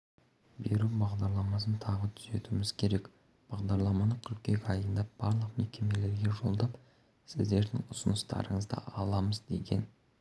беру бағдарламасын тағы түзетуіміз керек бағдарламаны қыркүйек айында барлық мекемелерге жолдап сіздердің ұсыныстарыңызды аламыз деген